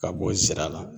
Ka bɔ sira la